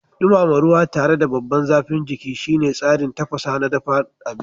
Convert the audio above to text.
Dumama ruwa tare da babban zafin jiki shine tsarin tafasa na dafa abinci.